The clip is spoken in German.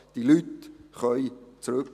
Diese Leute können zurückkehren.